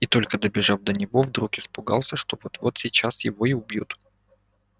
и только добежав до него вдруг испугался что вот-вот сейчас его и убьют